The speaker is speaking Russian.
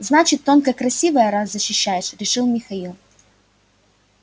значит тонко красивая раз защищаешь решил михаил